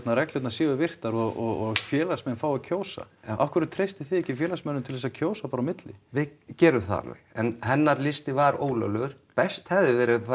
reglurnar séu virtar og félagsmenn fái að kjósa afhverju treystið þið ekki félagsmönnum til þess að kjósa bara á milli við gerum það alveg en hennar listi var ólöglegur best hefði verið að